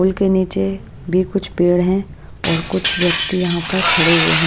पुल के नीचे भी कुछ पेड़ हैं और कुछ व्यक्ति यहां पर खड़े हुए हैं।